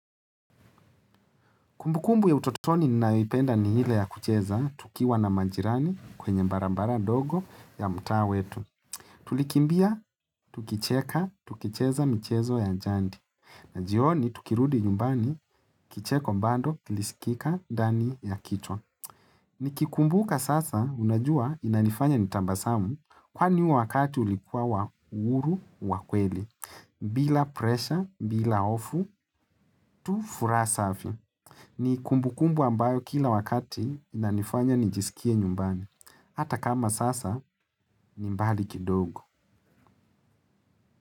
Kumbu kumbu ya utotoni ninayoipenda ni ile ya kucheza, tukiwa na majirani kwenye barabara dogo ya mtaa wetu. Tulikimbia, tukicheka, tukicheza michezo ya jandi. Na jioni, tukirudi nyumbani, kicheko mbando, kilisikika ndani ya kicha. Nikikumbuka sasa, unajua inanifanya nitabasamu, kwani huo wakati ulikuwa wa uhuru, wa kweli. Bila presha, bila ofu, tu furaha safi. Ni kumbu kumbu ambayo kila wakati inanifanya nijisikie nyumbani Hata kama sasa ni mbali kidogo.